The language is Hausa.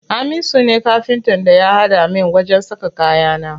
Hamisu ne Kafintan da ya haɗa min wajen saka kayana.